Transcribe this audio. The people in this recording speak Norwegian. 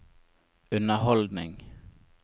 underholdning